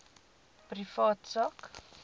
privaat sak